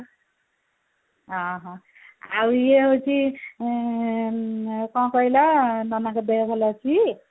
ଅହୋ ଆଉ ଇଏ ହଉଛି ଆଁ କଣ କହିଲ ନନାଙ୍କ ଦେହ ଭଲ ଅଛି